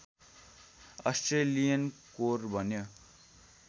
Australian core बन्यो